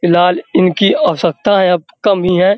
फिलहाल इनकी आवश्यकता अब कम ही है।